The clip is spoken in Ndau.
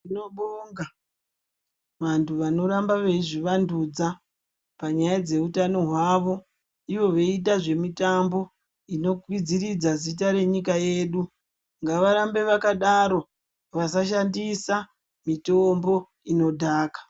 Tinobonga vantu vanohamba veizvivandudza panyaya dzeutano hwavo Ivo veiita zvemitambo inokwidziridza zita renyuka yedu, ngavarambe vakadaro vasashandisa mitombo inodhaka.